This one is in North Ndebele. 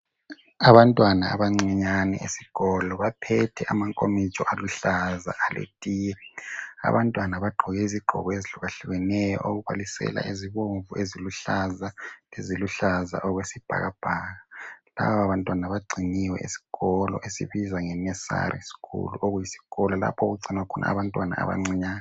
Abantwana abancinyane esikolo baphethe amankomitsho aluhlaza yetiye. Abantwana bagqoke izigqoko ezihlukahlukeneyo okubalisela eziluhlaza, eziluhlaza okwesibhakabhaka. Labo bantwana bagciniwe esikolo esibizwa ngenursery school okuyisikolo lapho okugcinwa khona abantwana abancinyane.